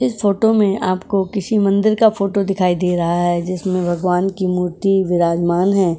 इस फोटो में आपको किसी मंदिर का फोटो दिखाई दे रहा है। जिसमें भगवान की मूर्ति विराजमान हैं।